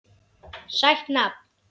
Sætt nafn.